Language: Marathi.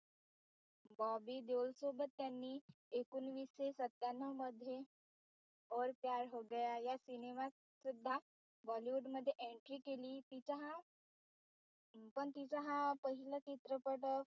बॉबी देओल सोबत त्यांनी एकोणीसे सत्यानव मध्ये और प्यार हो गया या सिनेमात सुद्धा bollywood मध्ये entry केली तिचा हा पण तिचा हा पहिला चित्रपट